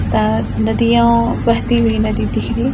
दो नदियाँ बहती हुई नदी दिख रही है।